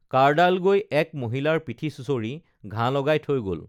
কাঁড়ডাল গৈ এক মহিলাৰ পিঠি চুঁচৰি ঘাঁ লগাই থৈ গল